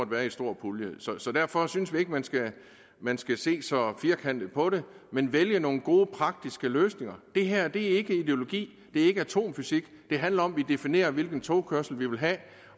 være i en stor pulje derfor synes vi ikke man skal man skal se så firkantet på det men vælge nogle gode praktiske løsninger det her er ikke ideologi og det er ikke atomfysik det handler om at definere hvilken togkørsel vi vil have